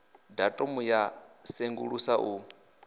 datumu ya u sengulusa u